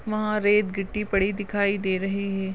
वहा रेत गिट्टी पड़ी दिखाई दे रहे है।